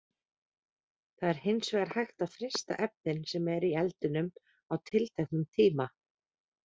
Það er hins vegar hægt að frysta efnin sem eru í eldinum á tilteknum tíma.